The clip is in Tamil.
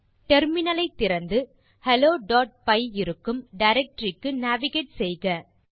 டெர்மினல் ஐ திறந்து மற்றும் helloபை இருக்கும் டைரக்டரி க்கு நேவிகேட் செய்க